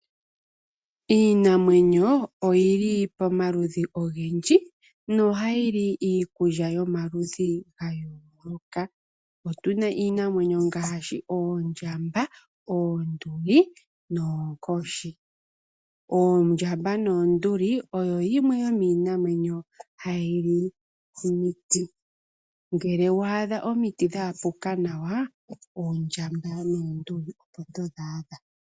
Iinamwenyo oyili pomaludhi ogendji noha yili iikulya yomaludhi gayooloka. Otuna iinamwenyo ngaashi: Oondjamba, Oonduli, nOokoshi. Oondjamba noOnduli oyo yimwe yomiinamwenyo hayili omiti, ngele wa adha omiti dha akuka nawa oondjamba noOnduli opo todhi adha.